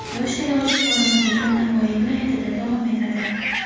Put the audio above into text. "Yosh saylovchi" forumi bugun Navoiy viloyatida davom etadi.